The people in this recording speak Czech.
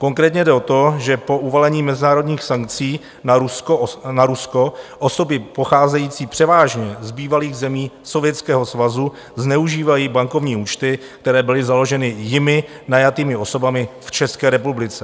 Konkrétně jde o to, že po uvalení mezinárodních sankcí na Rusko osoby pocházející převážně z bývalých zemí Sovětského svazu zneužívají bankovní účty, které byly založeny jimi najatými osobami v České republice.